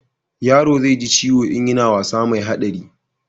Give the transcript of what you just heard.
yaro zai ji ciwo in yana wasa mai haɗari